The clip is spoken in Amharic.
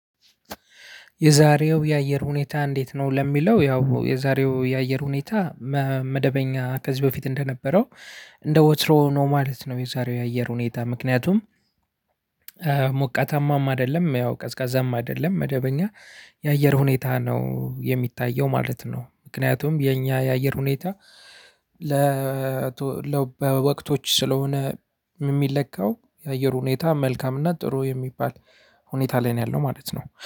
የዛሬው የአየር ሁኔታ እንዴት? ነው ለሚለው ያው የዛሬው የአየር ሁኔታ መደበኛ ከዚህ በፊት እንደነበረው እንደ ወትሮ ነው ማለት ነው። የዛሬው የአየር ሁኔታ ምክንያቱም ሞቃታማም አይደለም ያው ቀዝቃዛም አይደለም መደበኛ የአየር ሁኔታ ነው የሚታየው ማለት ነው። ምክንያቱም የኛ የአየር ሁኔታ። ያው በወቅቶች ስለሆነ የሚለካው የአየር ሁኔታ መልካም እና ጥሩ የሚባል ሁኔታ ላይ ነው ያለው ማለት ነው